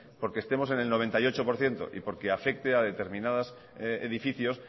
porque estemos en el noventa y ocho por ciento y porque afecte a determinados edificios